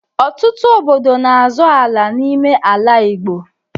Ọtụtụ obodo n'azọ ala n'ime ala Igbo.